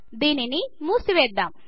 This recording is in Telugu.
దీనిని ముసివెద్దమ్